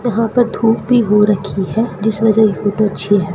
यहां पर धूप भी हो रखी है जिस वजह ये फोटो अच्छी है।